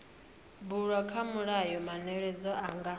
bulwa kha mulayo manweledzo nga